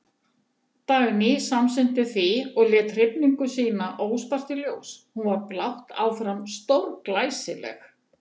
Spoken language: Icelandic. Dagný samsinnti því og lét hrifningu sína óspart í ljós, hún var blátt áfram stórglæsileg.